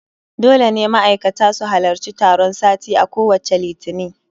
Dole ne ma'aikata su halarci taron sati a kowacce Litini